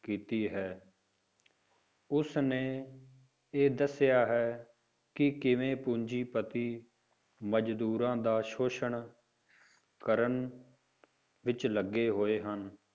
ਕੀਤੀ ਹੈ ਉਸਨੇ ਇਹ ਦੱਸਿਆ ਹੈ ਕਿ ਕਿਵੇਂ ਪੂੰਜੀਪਤੀ ਮਜ਼ਦੂਰਾਂ ਦਾ ਸੋਸ਼ਣ ਕਰਨ ਵਿੱਚ ਲੱਗੇ ਹੋਏ ਹਨ,